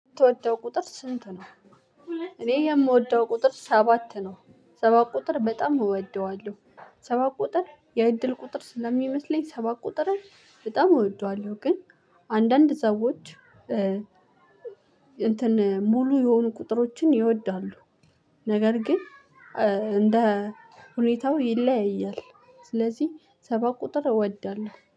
የምትወደው ቁጥር ስንት ነው? እኔ የምወደው ቁጥር ሰባት ነው። ሰባት ቁጥር በጣም እወደዋለሁ። ሰባት ቁጥር የእድል ቁጥር ስለሚመስለኝ ሰባት ቁጥርን በጣም እወደዋለሁ። ግን አንዳንድ ሰዎች እንትን ሙሉ የሆኑ ቁጥሮችን ይወዳሉ። ነገር ግን እንደ ሁኔታው ይለያያል። ስለዚህ ሰባት ቁጥር እወዳለሁ።